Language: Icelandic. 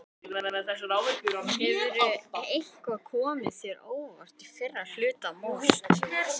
Hefur eitthvað komið þér á óvart í fyrri hluta móts?